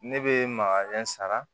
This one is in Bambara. Ne bɛ makalen sara